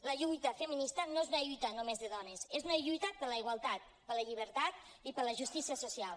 la lluita feminista no és una lluita només de dones és una lluita per la igualtat per la llibertat i per la justícia social